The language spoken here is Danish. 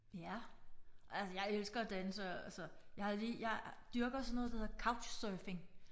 Ja altså jeg elsker og danse altså jeg har lige jeg dyrker sådan noget der hedder couch surfing